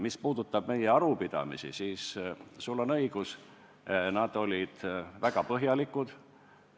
Mis puudutab meie arupidamisi, siis sul on õigus, need olid väga põhjalikud.